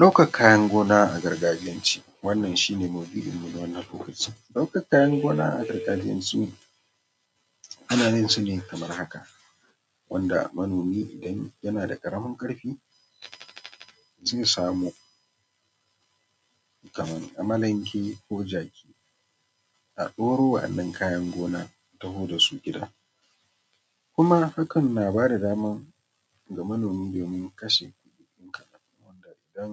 Ɗaukan kayan gona a gargajiyan ce, wannan shine maudu’in mu na wannan lokacin. Ɗaukan kayan gona a gargajiyance ana yin sa ne kamar haka, wanda manomi idan yana da ƙaramin ƙarfi zai samo kaman amalenke, ko jaki, a ɗauro wannan kayan gonan a taho dasu gida. Kuma hakan yana bada dama ga manomi ya kashe kuɗi kaɗan, wanda idan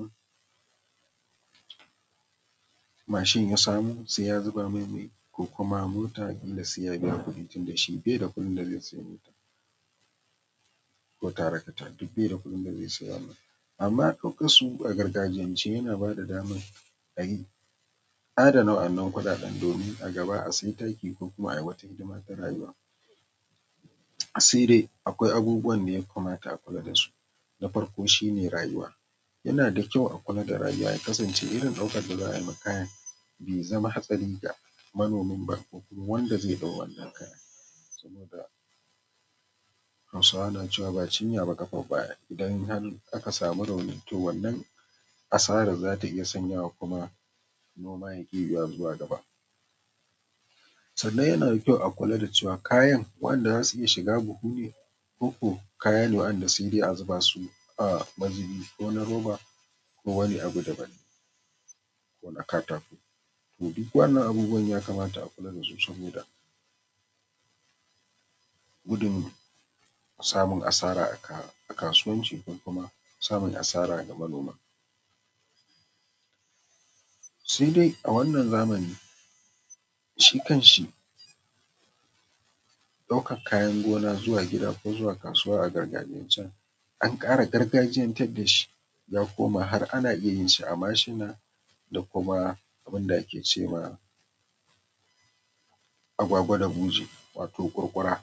machine ya samo sai ya zuba mai mai, kuma mota ƙila sai ya biya kuɗi tunda shi baida kuɗin da zai sayi mota, ko tractor, duk baida kuɗin da zai sayi wannan. Amman ɗaukan su a gargajiyance yana bada daman ayi adana wannan kuɗaɗen, domin a gaba a sayi taki ko kuma ayi wata hidima ta rayuwa. Sai dai akwai abubuwan da ya kamata a kula dasu, na farko shine rayuwa, yana da kyau a kula da rayuwa ya kasance irin ɗaukar da za a yi ma kayan bai zama hatsari ga manomin ba, ko kuma wanda zai ɗau wannan kayan, saboda hausawa na cewa,”ba cinya ba ƙafar baya” in har aka samu rauni, to wannan asarar zata iya sanyawa kuma noma yaki yiwuwa zuwa gaba. Sannan yana da kyau a kula da cewa kayan waɗanda zasu iya shiga buhu ne, ko ko kaya ne wanda sai dai a zuba su a mazubi, wani roba ko wani abu daban ko na katako, to duk waɗannan abubuwa ya kamata a kula dasu, saboda gudun samun asara a kayan gona, kasuwanci ko ko samun asara ga manoma. Sai dai a wannan zamani, shi kan shi ɗaukan kayan gona zuwa gida ko zuwa kasuwa a gargajiyancen an ƙara gargajiyantar dashi, zaku ga har ana iya yin shi a mashina da kuma abun da ake ce ma agwagwa da buje wato kwarkwara.